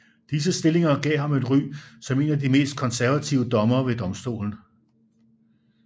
Disse stillinger gav ham et ry som en af de mest konservative dommere ved domstolen